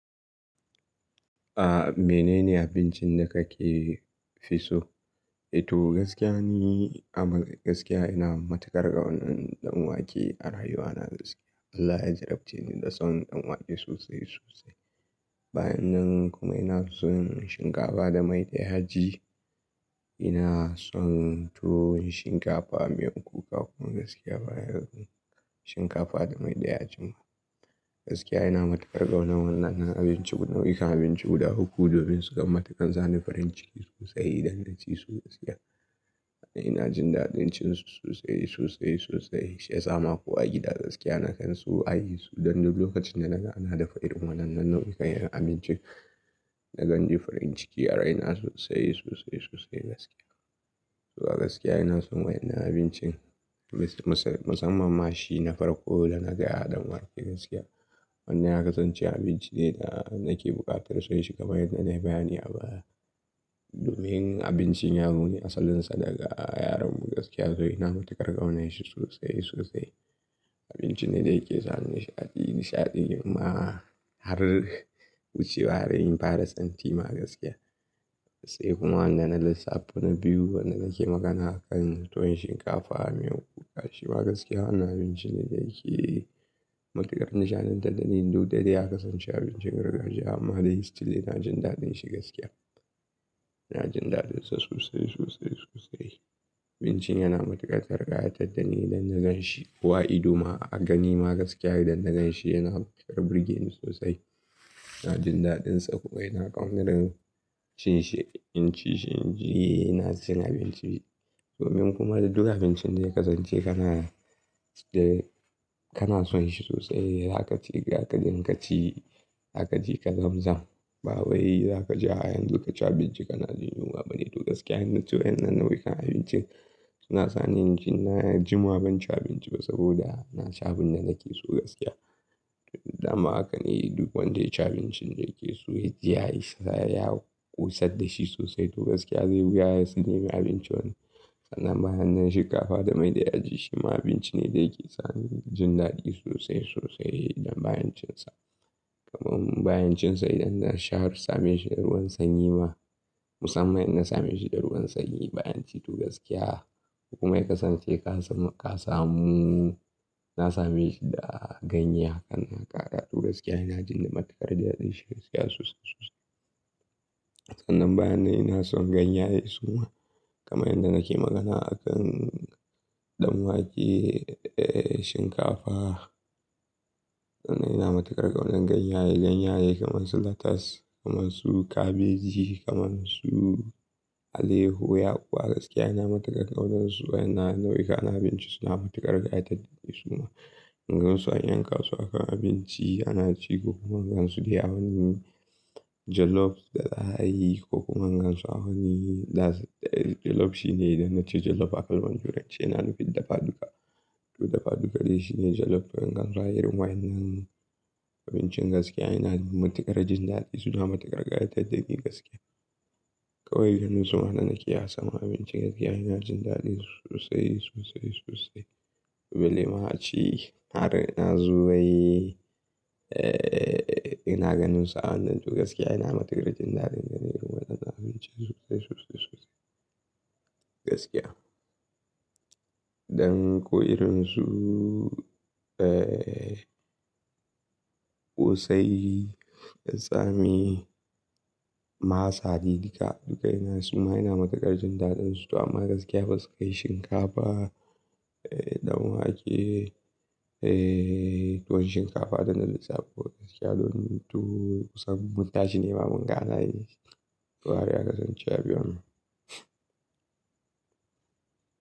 A mene ne abincin da kake fi so? To gaskiya ne, amma gaskiya ina matukar ƙaunar ɗan wake a rayuwana gaskiya. Allah ya jarrabce ni da son ɗan wake sosai sosai. Bayan nan kuma ina son shinkafa da mai da yaji. Ina son tuwo, shinkafa, miyan kuka kuma gaskiya bayan shinkafa da mai da yaji ma. Gaskiya ina matukar ƙaunar wannan nau'ikan abinci guda uku domin su kan mataƙan sani farin ciki sosai idan naci su gaskiya. Ina jin daɗin cin su sosai, sosai, sosai. Sha sama ko a gida gaskiya na kan su a yi su. Dan duk lokacin da na ga na dafa irin wannan nau'ikan abinci na kan ji farin ciki a raina sosai, sosai, sosai gaskiya. To a gaskiya ina son wayan nan abincin musamman ma shi na farko da na gaya ɗan wake gaskiya. Wannan ya kasance abinci ne da nake buƙatar son shi kamar yadda na bayani a baya. Domin abincin yaro ne asalin sa daga yaronmu gaskiya to ina matuƙar ƙaunar shi sosai sosai. Abinci ne da yake sani nishaɗi nishaɗi ma har wucewa raini fara santi ma gaskiya. Sai kuma wannan lissafin na biyu wanda nake magana akan tuwo shinkafa, miyan kuka shi ma gaskiya na abinci ne da yake matuƙar nishaɗantar da ni. Dukdai ya kasance abincin gargajiya amma dai still na jin daɗin shi gaskiya. Ina jin daɗin sa sosai, sosai, sosai. Abincin yana matuƙar ƙayatar da ni da na gan shi. Kowa ido ma a gani ma gaskiya idan na gan shi yana kara birgeni sosai. Ina jin daɗin tsako, ina ƙaunatar cin shi, in ci shi in ci ina son abinci. Domin kuma duka abincin da ya kasance kana, kana son shi sosai za ka ci ga ka dinga ka ci, za ka je ka zam zam. Bawai za ka je ah yanzu ka ci abinci kana jin yunwa bane. To gaskiya na tuwo wannan nau'ikan abincin suna sani in ci na har jima ban ci abinci ba saboda na ci abun da nake so gaskiya. Dama haka ne duk wanda ya ci abincin da yake so ya yi sai ya yi ƙosar da shi sosai to gaskiya zai wuya ya sani ya yi abinci wani. Sannan bayan nan shinkafa da mai da yaji shi ma abinci ne da yake sani jin daɗi sosai sosai idan bayan cin sa. Kuma bayan cin sa idan na sha ruwa same shi da ruwan sanyi ma musamman in na same shi da ruwan sanyi bayan ci to gaskiya kuma ya kasance ka samu, na same shi da ganye haka na gaka to gaskiya ina jin matukar daɗin shi gaskiya sosai sosai. Sannan bayan nan ina son ganyaye suma kama yadda nake magana akan ɗan wake, shinkafa. Sannan ina matuƙar ƙaunar ganye, ganye kamar su latas, kamar su kabeji, kamar su aleho, yakuwa gaskiya ina matuƙar ƙaunar su. Wannan nau'ikan abinci suna matuƙar ƙayatar da ni suma. In gan su an yanka su aka yi abinci ana ci ko kuma in gan su dai a wani jellof da za'ayi ko kuma in gan su a wani, da jellof shine idan na ci jellof a kalmar turanci yana nufin dafa duka. Dafa duka dai shine jellof in gan su a irin waye nan abincin gaskiya ina matuƙar jin daɗin su da matuƙar ƙayatar da ni gaskiya. Kawai ganin su ma da nakeyi a saman abinci gaskiya ina jin daɗi sosai, sosai, sosai. Balle ma a ci har ina zuwa wai, ina ganin su a wannan to gaskiya ina matuƙar jin daɗin gani irin wannan abinci sosai, sosai, sosai gaskiya. Ɗan ko irin su ƙosai, tsami, masa duka duka ina suma ina matuƙar jin daɗin su to anma gaskiya basu kai shinkafa, ɗan wake, tuwo shinkafa da na lissafo gaskiya domin tuwo kusan mun tashi nema mun ga ana yi. To haka ya kasance a biyon mu.